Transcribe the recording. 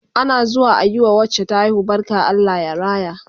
Ana zuwa ayi wa wacce ta haihu barka Allah ya raya